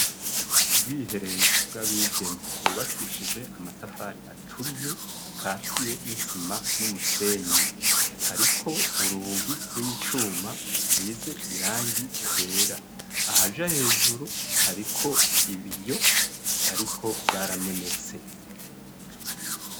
Ubwiherero bw'abigeme bwubakishije amatafari aturiye akatiye n'isima n'umusenyi, hariko urugi rw'icuma rusize irangi ryera, ahaja hejuru hariko ibiyo ariko vyaramenetse.